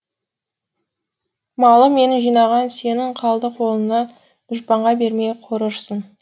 малым менің жинаған сенің қалды қолыңа дұшпанға бермей қорырсың